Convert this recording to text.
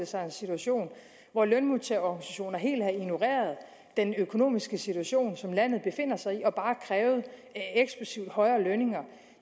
sig en situation hvor lønmodtagerorganisationer helt havde ignoreret den økonomiske situation som landet befinder sig i og bare krævet eksplosivt højere lønninger